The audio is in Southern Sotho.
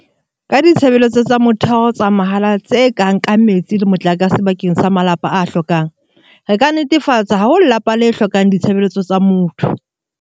Ka ditshebeletso tsa motheo tsa mahala tse kang ka metsi le motlakase bakeng sa malapa a hlokang, re ka netefatsa ha ho lelapa le hlokang ditshebeletso tsa motho.